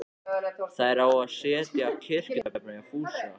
Þær sáu afa setjast á kirkjutröppurnar hjá Fúsa.